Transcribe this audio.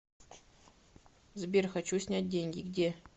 сбер хочу снять деньги где